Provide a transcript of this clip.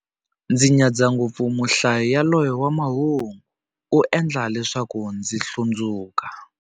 Ndzi nyadza ngopfu muhlayi yaloye wa mahungu, u endla leswaku ndzi hlundzuka.